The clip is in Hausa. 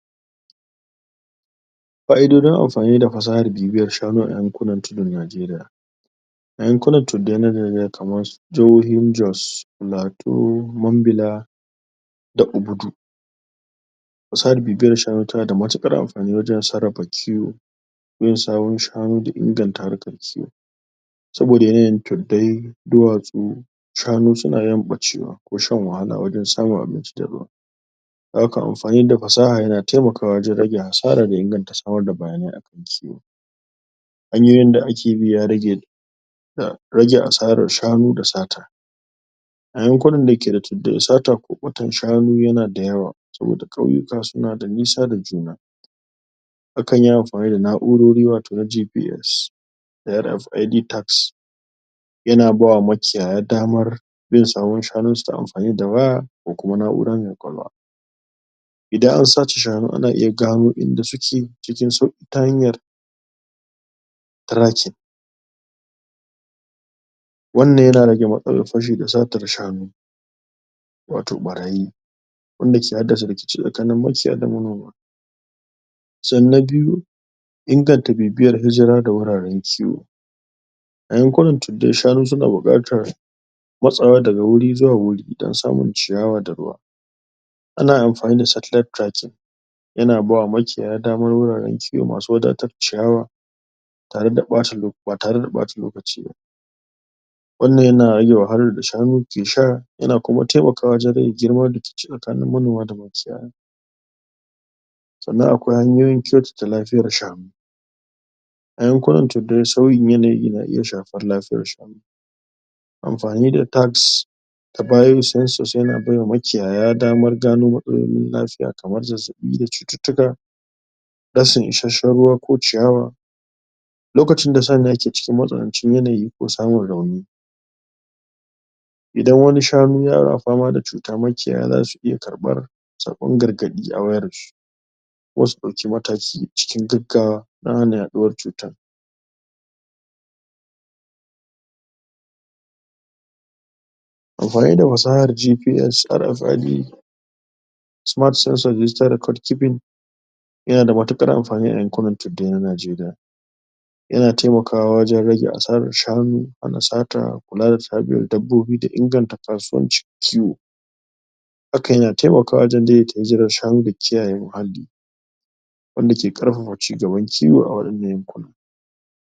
Ƙa'idoji amfani da fasahar bibiyar shanu a yankunan tidin Najeriya yakunan tuddai na jahohin Jos Plateau, Mambila da Bubudu fasahar bibiyar shanu tana da matuƙar amfani wajen sarrafa kiwo bin sawun shanu da inganta harkar kiwo saboda yanayin tuddai duwatsu shanu suna yin ɓacewa ko shan wahala wajen samun abinci da ruwa dan haka amfani da fasaha na taimakawa wajen rage hasara da inganta samar da bayanai akan su hanyoyin da ake bi a rage a rage asarar shanu da sata yakunan da ke da tuddai sata ko ɓatan shanu yana da yawa saboda ƙauyuka suna da nisa da juna akan yi amfani da na'urori wato na JGS da RFAD tacks yana bawa makiyaye damar yin tsaron shanunsu ta amfani da waya da kuma na'ura me kwalkwalwa idan an sace shanu ana iya gano inda suke cikin sauƙin ta hanyar Tracking wanna ya rage matsalar fashi da satar shanu wato ɓarayi wanda ke haddasa rikici tsakanin makiyaya da manoma sannan na biyu inganta bibiyar hijara ga wuraren kiwo yankunan tuddai shanu suna buƙatar matsawa daga wuri zuwa wuri don samun ciyawa da ruwa ana amfani da tracking yana bawa makiyaya damar wuraren kiwo masu wadatac ciyawa tare da ɓac ba tare da ɓata lokaci ba wannan yana rage wahalar da shanun ke sha yana kuma taimakawa wajen rage gieman rikici tsakanin manoma da makiyaya sannan akwai hanyoyi kyautata lafiyar shanu yankuna tuddai sauyin yanayi na iya shafar lafiyar shanu amfani da Tacks yana baiwa makiyaya damar gano matsalolin lafiya kamar zazzaɓi da cututtuka rashin isasshen ruwa ko ciyawa lokacin da San nan yake cikin matsanancin yanayi samun rauni idan wani shanu yana fama da cutar makiyaya za su iya karɓar saƙon gargaɗi a wayarsu don su ɗauki mataki cikin gaggawa don hana yaɗuwar cutar amfani da fasahar GPS yana da matuƙar amfani yayin karantar da 'yan Najeriya yana taimakawa wajen rage asarar shanu da sata kulawa da inganta kasuwancin kiwo hakan na taimakaw wajen daidaita zubin shanu da kiyaye muhalli wanda ke ƙarfafa cigaban kiwo a wannan yankuna